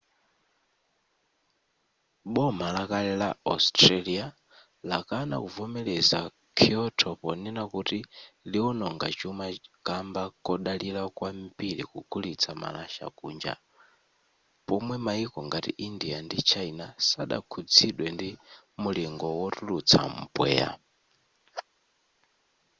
boma lakale la australia lakana kuvomereza kyoto ponena kuti liwononga chuma kamba kodalira kwambiri kugulitsa malasha kunja pomwe maiko ngati india ndi china sadakhuzidwe ndi mulingo wotulutsa mpweya